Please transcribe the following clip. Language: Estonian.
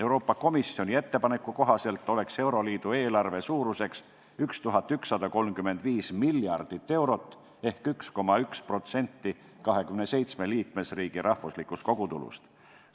Euroopa Komisjoni ettepaneku kohaselt oleks euroliidu eelarve suuruseks 1135 miljardit eurot ehk 1,1% 27 liikmesriigi rahvuslikust kogutulust.